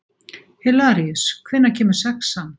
Hilaríus, hvenær kemur sexan?